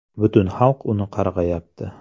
Butun xalq uni qarg‘ayapti.